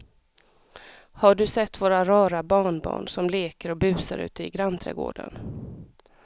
Har du sett våra rara barnbarn som leker och busar ute i grannträdgården!